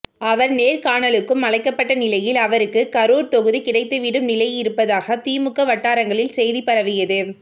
அவர் நேர்காணலுக்கும் அழைக்கப்பட்ட நிலையில் அவருக்கு கரூர் தொகுதி கிடைத்துவிடும் நிலை இருப்பதாக திமுக வட்டாரங்களில் செய்தி பரவியது